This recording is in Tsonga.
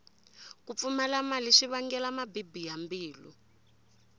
ku pfumala mali swi vangela mabibi ya mbilu